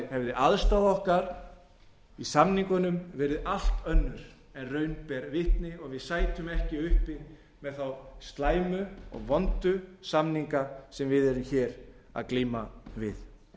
hefði aðstaða okkar í samningunum verið allt önnur en raun ber vitni og við sætum ekki uppi með þá slæmu og vondu samninga sem við erum hér að glíma við